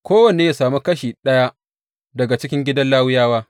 Kowanne ya sami kashi daga cikin gidan Lawiyawa.